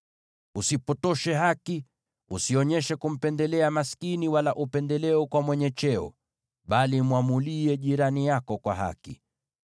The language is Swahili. “ ‘Usipotoshe haki; usionyeshe kumpendelea maskini, wala upendeleo kwa mwenye cheo, bali mwamulie jirani yako kwa haki.